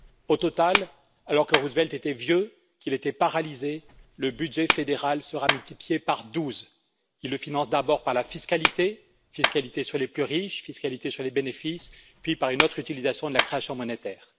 Au total, alors que Roosevelt était vieux et paralysé, le budget fédéral sera multiplié par douze. Il le finance d'abord par la fiscalité la fiscalité sur les plus riches et sur les bénéfices puis par une autre utilisation de la création monétaire.